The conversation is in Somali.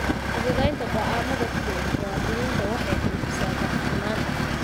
Fududeynta go'aamada ku dhow muwaadiniinta waxay xoojisaa daahfurnaanta.